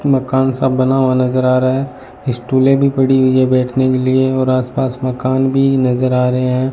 मकान सा बना हुआ नजर आ रहा है स्टूलें भी पड़ी हुई है बैठने के लिए और आसपास मकान भी नजर आ रहे हैं।